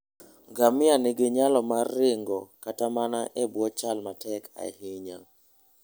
Ngamia nigi nyalo mar ringo kata mana e bwo chal matek ahinya.